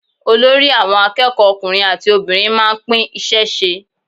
Olórí àwọn akẹ́kọ̀ọ́ ọkùnrin àti obìnrin máa ń pín iṣẹ́ ṣe.